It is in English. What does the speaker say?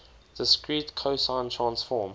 discrete cosine transform